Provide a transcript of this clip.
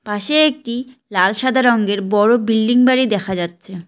পাশে একটি লাল সাদা রঙের বড় বিল্ডিং বাড়ি দেখা যাচ্ছে।